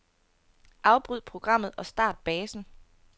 Afbryd programmet og start basen.